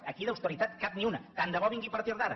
aquí d’austeritat cap ni una tant de bo vingui a partir d’ara